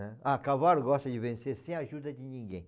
né? Ah, cavalo gosta de vencer sem a ajuda de ninguém.